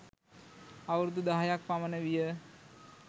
අවුරුදු දහයක් පමණ විය.